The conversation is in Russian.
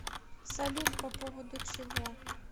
салют по поводу чего